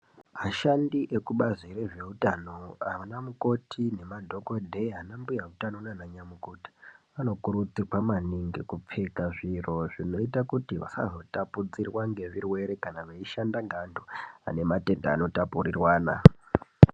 Ashandi ekubazi rezveutano ana mukoti nemadhogodheya ana mbuya hutano nananyamukuta. Anokurudzirwa maningi kupfeka zviro zvinoita kuti vasazotapudzirwa ngezvirwere kana veishanda ngevantu ane matenda anotapururwana.